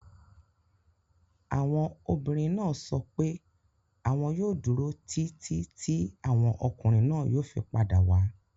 Àwọn obìnrin náà sọ pé àwọn yóò dúró títí tí àwọn ọkùnrin náà yóò fi padà wá.